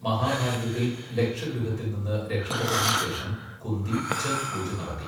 മഹാഭാരതത്തിൽ ലക്ഷഗൃഹത്തിൽ നിന്ന് രക്ഷപ്പെട്ടതിന് ശേഷം കുന്തി ഛത് പൂജ നടത്തി.